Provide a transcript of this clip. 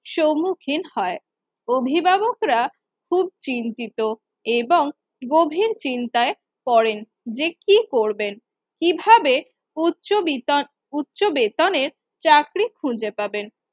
সমুখীন হয়, অভিভাবকরা খুব চিন্তিত এবং গভীর চিন্তায় পড়েন। যে কি করবেন, কিভাবে উচ্চ বিনত উচ্চ বেতনের চাকরি খুঁজে পাবেন